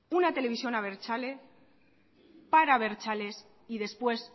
una televisión abertzale para abertzales y después